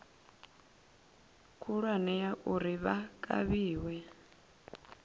khulwane ya uri vha kavhiwe